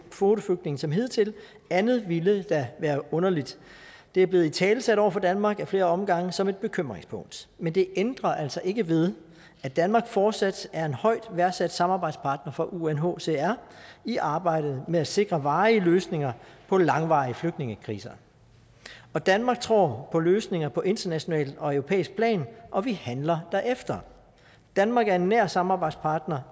kvoteflygtninge som hidtil andet ville da være underligt det er blevet italesat over for danmark ad flere omgange som et bekymringspunkt men det ændrer altså ikke ved at danmark fortsat er en højt værdsat samarbejdspartner for unhcr i arbejdet med at sikre varige løsninger på langvarige flygtningekriser danmark tror på løsninger på internationalt og europæisk plan og vi handler derefter danmark er en nær samarbejdspartner